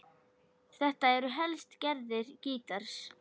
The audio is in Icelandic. Þetta eru helstu gerðir gítars